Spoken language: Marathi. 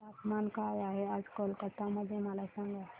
तापमान काय आहे आज कोलकाता मध्ये मला सांगा